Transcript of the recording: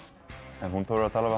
en hún þorir að tala